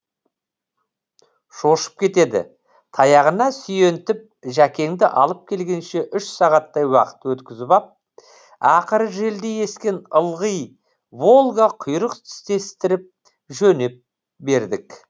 шошып кетеді таяғына сүйентіп жәкеңді алып келгенше үш сағаттай уақыт өткізіп ап ақыры желдей ескен ылғи волга құйрық тістестіріп жөнеп бердік